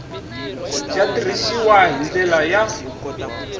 ya tirhisiwile hi ndlela ya